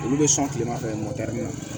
Olu bɛ sɔn tilema fɛ